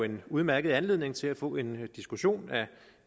en udmærket anledning til at få en diskussion af